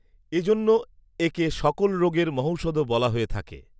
এজন্য একে সকল রোগের মহঔষধও বলা হয়ে থাকে